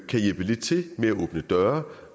kan hjælpe lidt til med at åbne døre